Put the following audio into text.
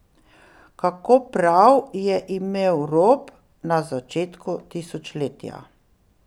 Kako prav je imel Rop na začetku tisočletja!